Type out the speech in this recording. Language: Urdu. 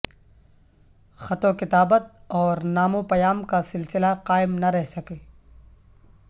خط و کتابت اورنامہ وپیام کا سلسلہ قائم نہ رہ سکے